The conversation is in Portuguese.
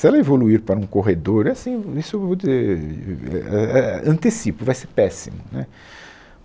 Se ela evoluir para um corredor, assim, isso eu vou dizer, uh uh é é, antecipo, vai ser péssimo, né